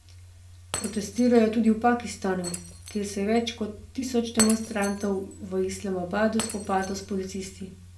Protestirajo tudi v Pakistanu, kjer se je več kot tisoč demonstrantov v Islamabadu spopadlo s policisti.